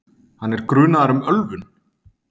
Hann er grunaður um ölvun